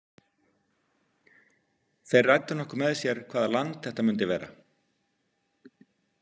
Þeir ræddu nokkuð með sér hvaða land þetta myndi vera.